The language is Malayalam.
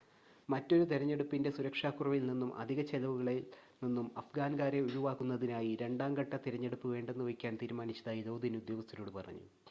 മറ്റൊരു തിരഞ്ഞെടുപ്പിൻ്റെ സുരക്ഷാക്കുറവിൽ നിന്നും അധിക ചിലവുകളിൽ നിന്നും അഫ്ഗാൻകാരെ ഒഴിവാക്കുന്നതിനായി രണ്ടാം ഘട്ട തിരഞ്ഞെടുപ്പ് വേണ്ടെന്നുവയ്ക്കാൻ തീരുമാനിച്ചതായി ലോദിൻ ഉദ്യോഗസ്ഥരോട് പറഞ്ഞു